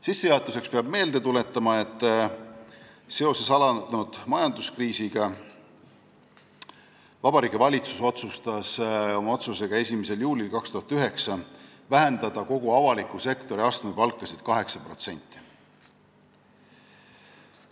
Sissejuhatuseks peab meelde tuletama, et seoses alanud majanduskriisiga otsustas Vabariigi Valitsus oma 1. juuli 2009. aasta otsusega vähendada kogu avaliku sektori astmepalkasid 8%.